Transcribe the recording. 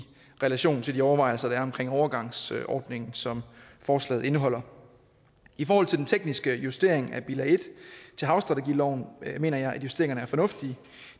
relation til de overvejelser der er omkring overgangsordningen som forslaget indeholder i forhold til den tekniske justering af bilag en til havstrategiloven mener jeg at justeringerne er fornuftige